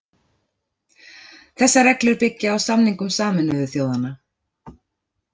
Þessar reglur byggja á samningum Sameinuðu þjóðanna.